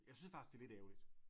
Jeg synes faktisk det er lidt ærgerligt